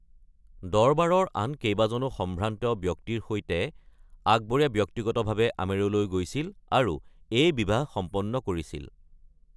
দৰবাৰৰ আন কেইবাজনো সম্ভ্ৰান্ত ব্যক্তিৰ সৈতে আকবৰে ব্যক্তিগতভাৱে আমেৰলৈ গৈছিল আৰু এই বিবাহ সম্পন্ন কৰিছিল।